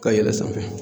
Ka yɛlɛn sanfɛ